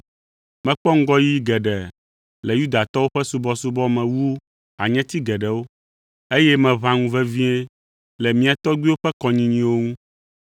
Mekpɔ ŋgɔyiyi geɖe le Yudatɔwo ƒe subɔsubɔ me wu hanyeti geɖewo, eye meʋã ŋu vevie le mía tɔgbuiwo ƒe kɔnyinyiwo ŋu.